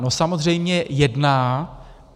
No samozřejmě jedná.